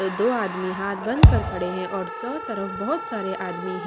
दो आदमी हाथ बंद कर खड़े हैं और चौ तरफ बहुत सारे आदमी हैं।